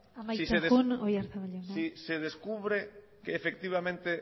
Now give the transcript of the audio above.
amaitzen joan oyarzabal jauna oiga si se descubre que efectivamente